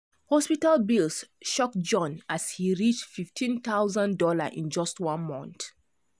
hospital bills shock john as he reachfifteen thousand dollarsin just one month.